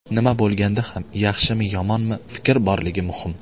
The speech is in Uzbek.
Nima bo‘lganda ham, yaxshimi-yomonmi, fikr borligi muhim.